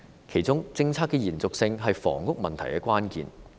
其中，政策的延續性是房屋問題的關鍵。